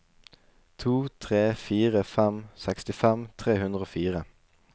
to tre fire fem sekstifem tre hundre og fire